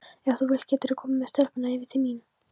Ef þú vilt geturðu komið með stelpurnar yfir til mín.